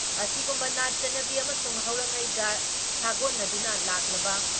ꯑꯁꯤꯒꯨꯨꯝꯕ ꯅꯥꯠ ꯆꯠꯅꯕꯤ ꯑꯃꯁꯨꯡ ꯍꯧꯔꯛꯉꯩꯒ ꯁꯥꯒꯣꯟꯅꯗꯨꯅ ꯂꯥꯛꯂꯕ